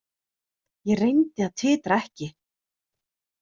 Ég reyndi að titra ekki.